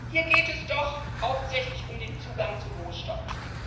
Hier geht es doch hauptsächlich um den Zugang zu Rohstoffen.